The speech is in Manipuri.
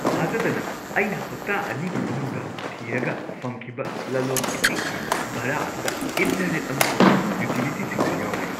ꯊꯥꯖꯗꯅ, ꯑꯩꯅ ꯍꯞꯇꯥ ꯑꯅꯤꯒꯤ ꯃꯅꯨꯡꯗ ꯊꯤꯔꯒ ꯐꯪꯈꯤꯕ ꯂꯂꯣꯟ ꯏꯇꯤꯛꯀꯤ ꯚꯥꯔꯥ ꯑꯗꯨꯗ ꯏꯟꯇꯔꯅꯦꯠ ꯑꯃꯁꯨꯡ ꯌꯨꯇꯤꯂꯤꯇꯤꯁꯤꯡꯁꯨ ꯌꯥꯎꯔꯦ꯫